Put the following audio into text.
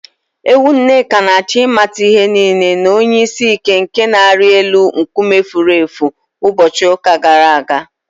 Ewu Nneka na-achọ ịmata ihe nile na onye isi ike nke na-arị na elu nkume efuru efu ụbọchị ụka gara aga